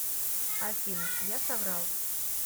афина я соврал